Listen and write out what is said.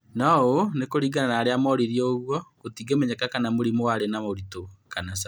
No ũũ nĩ kũringana na arĩa moririo ũguo gũtingĩmenyeka kana mũrimũ warĩ na ũritũ kana ca